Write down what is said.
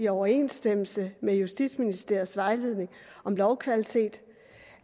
i overensstemmelse med justitsministeriets vejledning om lovkvalitet